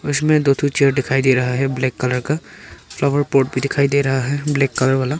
इसमें दो ठो चेयर दिखाई दे रहा है ब्लैक कलर का फ्लावर पॉट भी दिखाई दे रहा है ब्लैक कलर वाला।